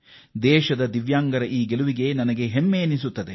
ಈ ದಿವ್ಯಾಂಗದ ಗೆಳೆಯರ ಸಾಧನೆಗೆ ಇಡೀ ದೇಶ ಹೆಮ್ಮೆ ಪಟ್ಟಿದೆ